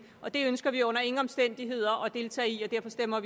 det ønsker vi under ingen omstændigheder at deltage i og derfor stemmer